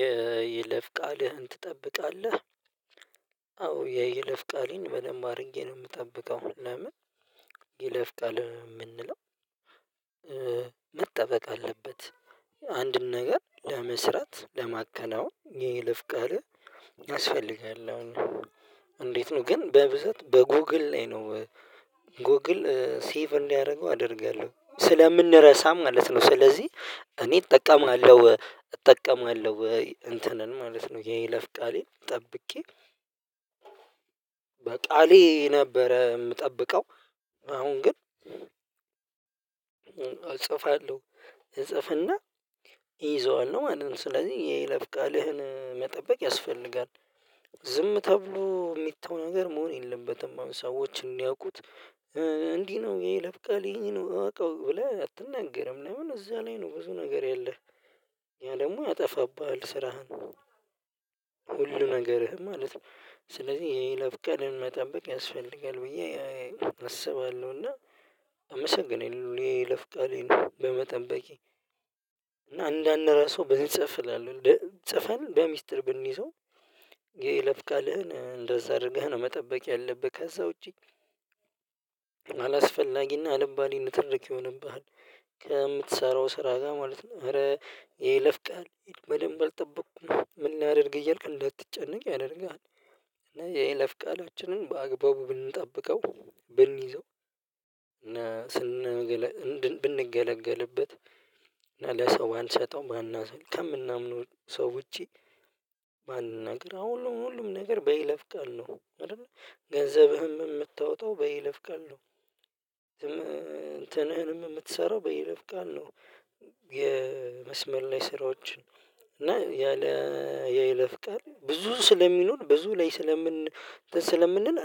የይለፍ ቃልህን ትጠብቃለህ? አዎ የይለፍ ቃሌን በለማ ነው የምጠብቀው። ለምን ይለፍቃል የምንለው? መጠበቅ አለበት። አንድን ነገር ለመስራት ለማከናወን ይህ ልፍቀር ያስፈልጋል አስፈልጋለሁ። እንዴት ነው? ግን በብዛት በጎግል ላይ ነው። ጎግል ሴቭ እንዲያደርገው አደርጋለሁ ስለምንረሳ ማለት ነው። ስለዚህ እኔ እጠቀማለሁ እጠቀማለሁ ወይ እንትንን ማለት ነው። የለፍ ቃሌን ጠብቄ። በቃሌ ነበረ የምጠብቀው። አሁን ግን። እጽፋለሁ እጽፍና ይይዘዋል ነው ማለት ነው። ስለዚህ የለብ ቃልህን መጠበቅ ያስፈልጋል። ዝም ተብሎ የሚታወቀው ነገር መሆን የለበትም። አሁን ሰዎች እንዲያውቁት እንዲህ ነው። ይሄ ለብቃል ይሄን ነው እወቀው ብለህ አትነገርም። ለምን እዛ ላይ ነው ብዙ ነገር ያለህ። ያለምን ያጠፋብሃል ስራህን። ሁሉ ነገርህም ማለት ነው ስለዚህ ይለብቀን መጠበቅ ያስፈልጋል። ብዬ አስባለሁ እና አመሰግናለሁ። ይሄ ለፍቃሌ ነው በመጠበቄ በቂ እና አንዳንድ ራሱ ብንጽፍ እላለሁ ጽፈን በሚስጥር ብንይዘው። ለብካልህን እንደዛ አድርገህ ነው መጠበቅ ያለብህ። ከዛ ውጪ። አላስፈላጊና አለም ባሌን ትርክ ይሆንብሃል። ከምትሰራው ስራ ጋር ማለት ነው። ኧረ ይሄ ለፍቀሃል በደንብ አልጠበቅኩም ምን ያደርግ እያልክ እንድትጨነቅ ያደርጋል። እና የለፍቃላችንን በአግባቡ ብንጠብቀው ብንይዘው። እና ስንገለግል ብንገለገልበት እና ለሰው አልሰጠውም አናስብ ከምናምነው ሰው ውጪ። ባንነግር አዎ ሁሉም ሁሉም ነገር በይለፍ ቃል ነው። አይደለ ገንዘብህም የምታወጣው በይለፍ ቃል ነው። እንትንህንም የምትሰራው በይነፍ ቃል ነው። የመስመል ላይ ስራዎችን። እና ያለ ያይለፍቀር ብዙ ስለሚኖር ብዙ ላይ ስለምን ስለምንል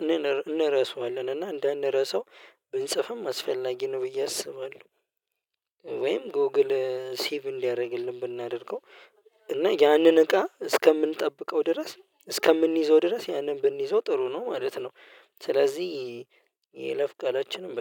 እንረሳዋለን እና እንዳንረሳው ብንጽፍም አስፈላጊ ነው። ብዬ አስባለሁ። ወይም ጎግል ሲቭ እንዲያደርግልን ብናደርገው እና ያንን እቃ እስከምንጠብቀው ድረስ እስከምንይዘው ድረስ ያንን ብንይዘው ጥሩ ነው ማለት ነው። ስለዚህ የለፍቃላችንም